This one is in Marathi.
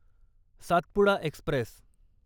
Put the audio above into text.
सातपुडा एक्स्प्रेस